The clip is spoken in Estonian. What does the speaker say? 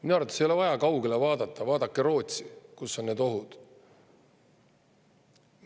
Minu arvates ei ole vaja kaugele vaadata, vaadake Rootsi poole, kus need ohud on.